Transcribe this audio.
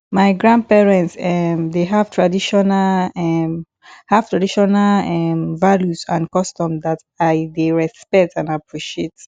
my grandparents um dey have traditional um have traditional um values and customs that i dey respect and appreciate